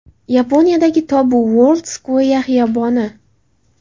Yaponiyadagi Tobu World Square xiyoboni.